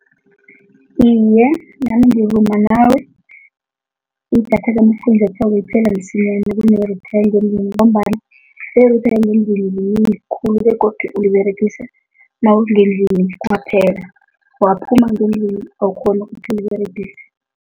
Iye, nami ngivuma nawe, idatha kafunjathwako liphela msinyana kuneye-router ngombana i-router yangendlini khulu begodu uyiberegisa nawungendlini kwaphela, waphuma ngendlini awukghoni ukuthi uliberegise.